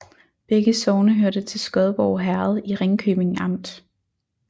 Begge sogne hørte til Skodborg Herred i Ringkøbing Amt